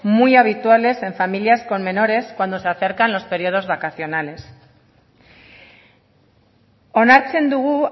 muy habituales en familias con menores cuando se acercan los periodos vacaciones onartzen dugu